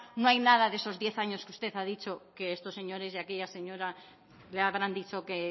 no hay nada de esos diez años que usted ha dicho que estos señores y aquella señora le habrán dicho que